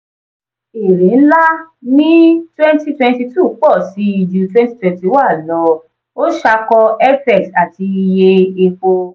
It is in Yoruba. èrè ńlá ní 2022 pọ̀ sí i ju 2021 lọ ó ṣàkọ fx àti iye epo.